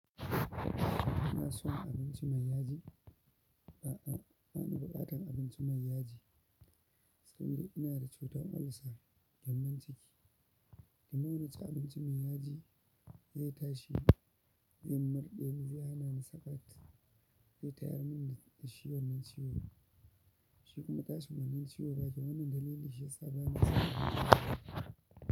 Kina son abinci mai yaji? A'a, ba na buƙatan abinci mai yaji, sabida ina da cutan olsa, gyambon ciki, the more naci abinci mai yaji zai tashi, zai murɗe, zai hana ni saƙat, zai tayar min da shi wannan ciwo, shi kuma yana mun ciwa shiyasa.